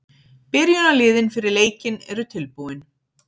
Byrjunarliðin fyrir leikinn eru tilbúin.